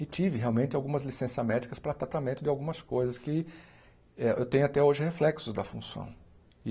E tive realmente algumas licenças médicas para tratamento de algumas coisas que eh eu tenho até hoje reflexos da função.